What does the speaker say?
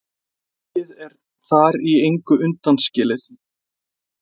Pönkið er þar í engu undanskilið.